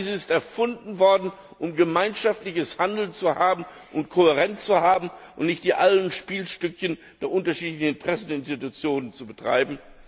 All dies ist erfunden worden, um gemeinschaftliches Handeln und Kohärenz zu haben, und nicht die alten Spielstückchen der unterschiedlichen Interessen der Institutionen zu betreiben.